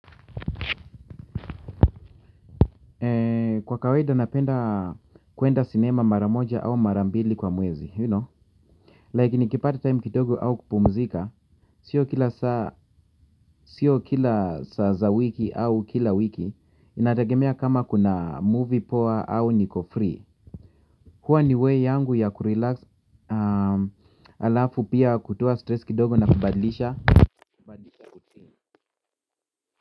Kwa kawaida napenda kwenda sinema mara moja au mara mbili kwa mwezi you know like nikipata time kidogo au kupumzika siyo kila saa. Siyo kila saa za wiki au kila wiki. Inategemea kama kuna movie poa au niko free. Huwa ni way yangu ya kurelax. Halafu pia kutoa stress kidogo na kubadilisha.